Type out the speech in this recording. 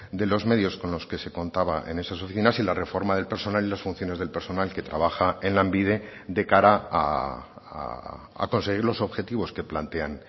de los medios con los que se contaba en esas oficinas y la reforma del personal y las funciones del personal que trabaja en lanbide de cara a conseguir los objetivos que plantean